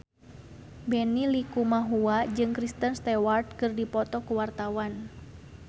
Benny Likumahua jeung Kristen Stewart keur dipoto ku wartawan